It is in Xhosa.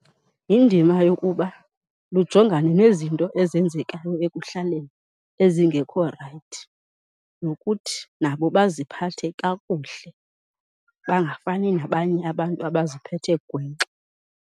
Yindima yokuba lujongane nezinto ezenzekayo ekuhlaleni ezingekho rayithi, nokuthi nabo baziphathe kakuhle bangafani nabanye abantu abaziphethe gwenxa.